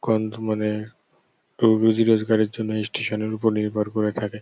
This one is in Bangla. কন্ধুমানের কেও রুজি রোজগারের জন্য ইস- স্টেশন -এর উপর নির্ভর করে থাকে।